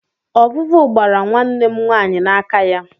Ọvụvụ gbara nwanne m nwaanyị n'aka ya.